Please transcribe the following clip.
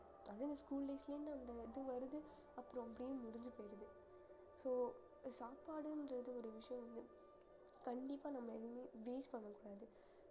அதுவும் school life ல இருந்து அந்த இது வருது அப்புறம் அப்படியே முடிஞ்சு போயிடுது so சாப்பாடுன்றது ஒரு விஷயம் வந்து கண்டிப்பா நம்ம எதுவுமே waste பண்ணக் கூடாது